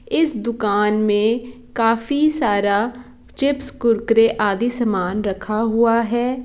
इस दुकान में काफी सारा चिप्प कुरकुर आधी सामन रखा हूआ है।